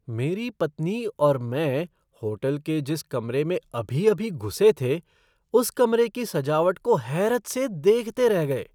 मेरी पत्नी और मैं होटल के जिस कमरे में अभी अभी घुसे थे उस कमरे की सजावट को हैरत से देखते रह गए।